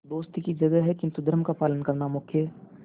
दोस्ती की जगह है किंतु धर्म का पालन करना मुख्य है